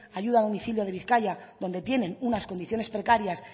ayuda a domicilio de bizkaia donde tienen unas condiciones precarias